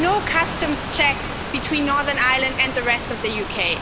no customs checks between Northern Ireland and the rest of the UK